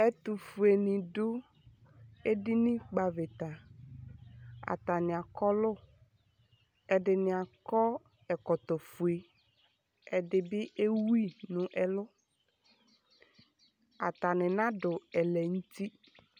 Ɛtʋfuenɩ dʋ edinikpɔ avɩta Atanɩ akɔlʋ Ɛdɩnɩ akɔ ɛkɔtɔfue Ɛdɩ bɩ ewu yɩ nʋ ɛlʋ Atanɩ nadʋ ɛlɛnʋti